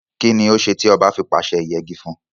Kínni ó se tí oba fi pàse ìyegi fún?